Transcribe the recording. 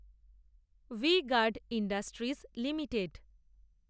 V-Guard industries limited